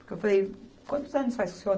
Porque eu falei, quantos anos faz que o Seu